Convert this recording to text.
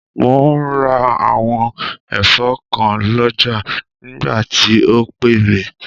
Mò ún ra àwọn ẹ̀fọ́ kan lọ́jà nígbà tí o pè mí